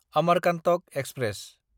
Amarkantak express